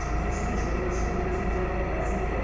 жүргізуші мен жүргізуші төбелескені жай да ол бәсеке